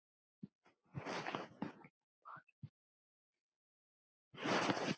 Ég bar hugmynd undir